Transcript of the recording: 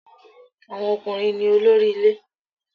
Àwọn ọkùnrin ní olórí ilé